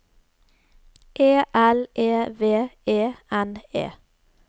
E L E V E N E